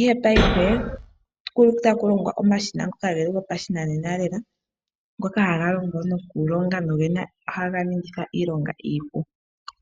Ihe paife okuli taku longwa omashina ngono geli gopashinanena lela, ngoka haga longo nohaga ningitha iilonga iipu.